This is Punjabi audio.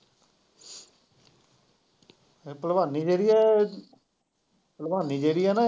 ਭਲਵਾਨੀ ਜਿਹੜੀ ਐ, ਭਲਵਾਨੀ ਜਿਹੜੀ ਐ ਨਾ।